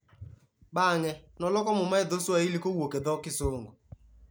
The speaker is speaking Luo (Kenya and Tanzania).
Bang'e, noloko Muma e dho Swahili kowuok e dho Kisungu.